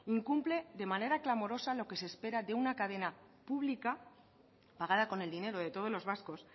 incumple de manera clamorosa lo que se espera de una cadena pública pagada con el dinero de todos los vascos